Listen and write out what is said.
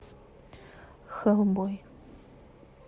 хэлбой